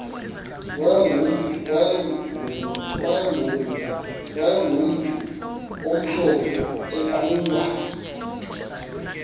wayegumntu omhlophe eqhuba